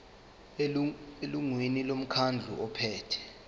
elungwini lomkhandlu ophethe